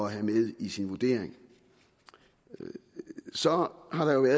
have med i sin vurdering så har der jo i